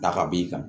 Ta ka b'i kan